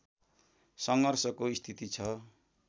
सङ्घर्षको स्थिति छ